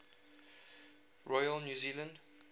royal new zealand